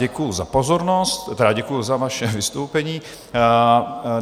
Děkuji za pozornost, tedy děkuji za vaše vystoupení.